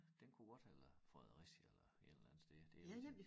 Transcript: Den kunne godt have været Fredericia eller et eller andet stedet det rigtigt